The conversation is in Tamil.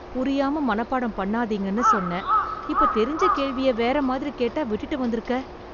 புரியாம மனப்பாடம் பண்ணாதீங்கன்னு சொன்னேன், இப்ப தெரிஞ்ச கேள்விய வேற மாதிரி கேட்டா விட்டுட்டு வந்துருக்க.